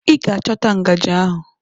Ị ga-achọta ngajị ahụ!